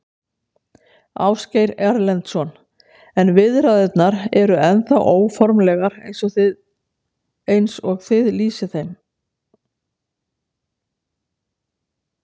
Ásgeir Erlendsson: En viðræðurnar eru ennþá óformlegar eins og þið lýsið þeim?